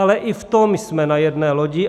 Ale i v tom jsme na jedné lodi.